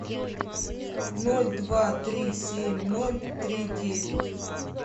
ноль два три семь ноль три девять